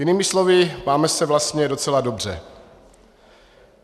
Jinými slovy, máme se vlastně docela dobře.